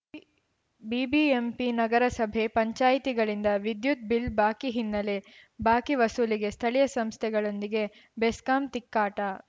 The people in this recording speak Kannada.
ಬಿಬಿಎಂಪಿ ನಗರ ಸಭೆ ಪಂಚಾಯಿತಿಗಳಿಂದ ವಿದ್ಯುತ್‌ ಬಿಲ್‌ ಬಾಕಿ ಹಿನ್ನೆಲೆ ಬಾಕಿ ವಸೂಲಿಗೆ ಸ್ಥಳೀಯ ಸಂಸ್ಥೆಗಳೊಂದಿಗೆ ಬೆಸ್ಕಾಂ ತಿಕ್ಕಾಟ